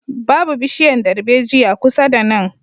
Babu bishiyan darbejiya kusa da nan